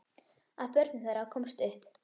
Af börnum þeirra komst upp